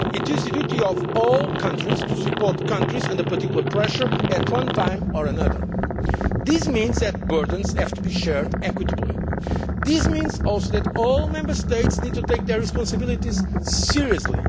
It is the duty of all countries to support those countries that come under particular pressure at one time or another. This means that burdens have to be shared equitably. It also means that all Member States need to take their responsibilities seriously.